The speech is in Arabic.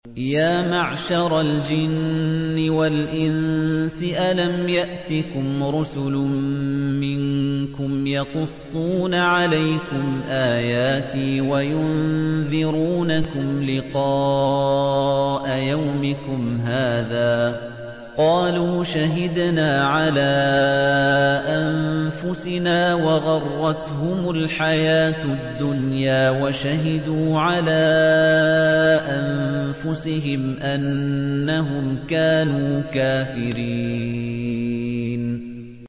يَا مَعْشَرَ الْجِنِّ وَالْإِنسِ أَلَمْ يَأْتِكُمْ رُسُلٌ مِّنكُمْ يَقُصُّونَ عَلَيْكُمْ آيَاتِي وَيُنذِرُونَكُمْ لِقَاءَ يَوْمِكُمْ هَٰذَا ۚ قَالُوا شَهِدْنَا عَلَىٰ أَنفُسِنَا ۖ وَغَرَّتْهُمُ الْحَيَاةُ الدُّنْيَا وَشَهِدُوا عَلَىٰ أَنفُسِهِمْ أَنَّهُمْ كَانُوا كَافِرِينَ